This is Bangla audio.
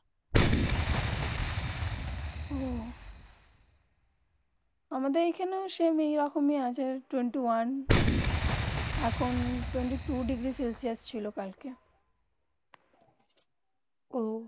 অহঃ আমাদের এখানে সেম যেইরকম টোয়েন্টি ওয়ান. এখন টুয়েন্টি টু ডিগ্রী সেলসিয়াস ছিল কালকে অহঃ